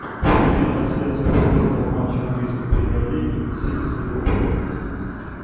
включи трансляцию футбольного матча английской премьер лиги сити с ливерпулем